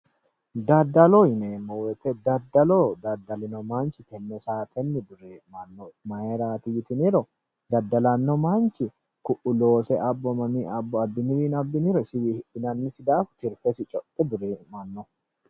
Daddaloho yineemmo woyiite Daddalo daddalino manchi tenne saatenni duree'manno mayiiraati yotiniro ku'u loose abbo abbiniwiino abbiniro afi'niro isiwii hidhinannisi daafo isi codhe duree'mano